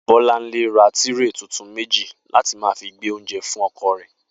Bó̩lánlé ra tírè tuntun méjì láti máa fi gbé oúnje̩ fún o̩ko̩ rè̩